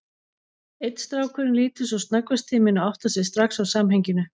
Einn strákurinn lítur sem snöggvast til mín og áttar sig strax á samhenginu.